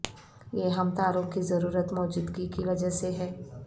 یہ ہم تاروں کی ضرورت موجودگی کی وجہ سے ہے